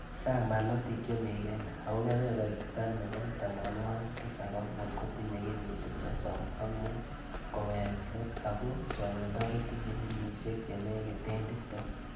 Chang barnotik chemi Kenya ako kebeberta nebo tamanwokik tisab ak muut kotinyei kenyisiek sosom ak muut koweek let ako chong'indo kotinye kenyisiek chenekite tiptem